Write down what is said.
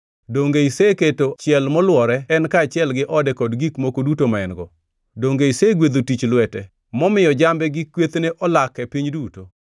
Donge iseketo chiel molwore en kaachiel gi ode kod gik moko duto ma en-go? Donge isegwedho tich lwete, momiyo jambe gi kwethne olak e pinyno duto?